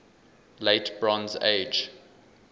late bronze age